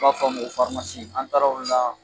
B'a f'a ma ko farimasi an taara o la